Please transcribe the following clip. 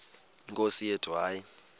nkosi yethu hayi